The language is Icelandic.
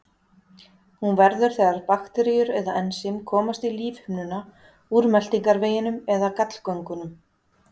Hún verður þegar bakteríur eða ensím komast í lífhimnuna úr meltingarveginum eða gallgöngunum.